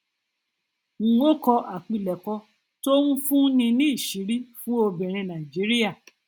um ó kọ àpilẹkọ tó ń fún ní ìṣìírí fún obìnrin nàìjíríà